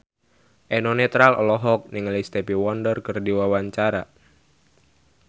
Eno Netral olohok ningali Stevie Wonder keur diwawancara